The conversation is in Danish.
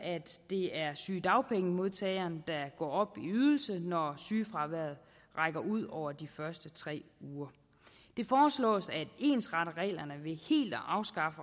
det er sygedagpengemodtageren der går op i ydelse når sygefraværet rækker ud over de første tre uger det foreslås at ensrette reglerne ved helt at afskaffe